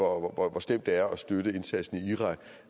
hvor slemt det er at støtte indsatsen i irak